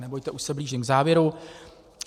Nebojte, už se blížím k závěru.